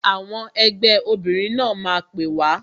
Àwọn ẹgbẹ́ obìnrin náà máa pè wá